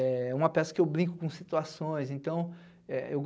É uma peça em que brinco com situações. Então é eu